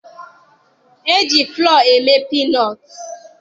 E ji fụlọọ eme piinọọtụ.